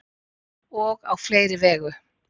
og á fleiri vegu